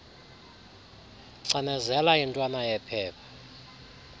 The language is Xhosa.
cinezela intwana yephepha